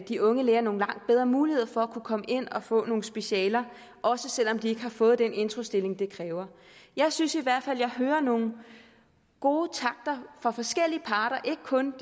de unge læger nogle langt bedre muligheder for at komme ind og få nogle specialer også selv om de ikke har fået den introstilling det kræver jeg synes i hvert fald at jeg hører nogle gode takter fra forskellige parter ikke kun